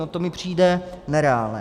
No, to mi přijde nereálné.